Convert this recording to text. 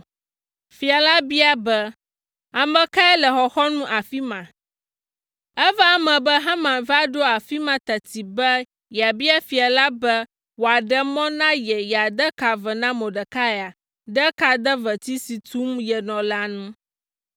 Fia la bia be, “Ame kae le xɔxɔnu afi ma?” Eva eme be Haman va ɖo afi ma teti be yeabia fia la be wòaɖe mɔ na ye yeade ka ve na Mordekai ɖe kadeveti si tum yenɔ la ŋu.